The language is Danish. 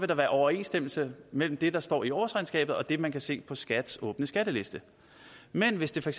der være overensstemmelse mellem det der står i årsregnskabet og det man kan se på skats åbne skatteliste men hvis det for